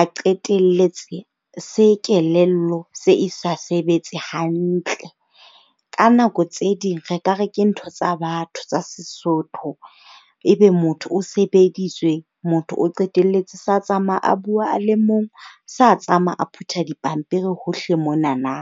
A qetelletse se kelello se e sa sebetse hantle. Ka nako tse ding re ka re ke ntho tsa batho, tsa Sesotho. Ebe motho o sebeditswe, motho o qetelletse sa tsamaya a bua a le mong, sa tsamaya a phutha dipampiri hohle monana.